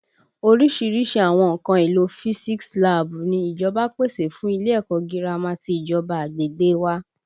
Orísìírísìí àwọn nǹkan àlò physics láàbù ni ìjọba pèsè fún ilé ẹ̀kọ́ gírámà ti ìjọba agbègbè wa